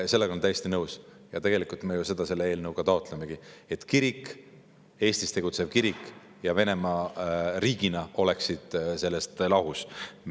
Sellega olen täiesti nõus ja tegelikult me ju seda selle eelnõuga taotlemegi, et kirik, Eestis tegutsev kirik, ja Venemaa riigina oleksid lahus.